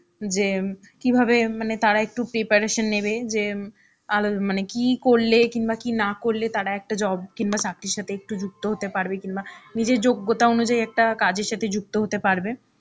যে কিভাবে মানে তারা একটু preparation নেবে যে আলো মানে কী করলে কিংবা কী না করলে তারা একটা job কিংবা চাকরির সাথে একটু যুক্ত হতে পারবে কিংবা নিজের যোগ্যতা অনুযায়ী একটা কাজের সাথে যুক্ত হতে পারবে.